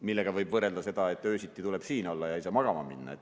Sellega võib võrrelda seda, et öösiti tuleb siin olla ja ei saa magama minna.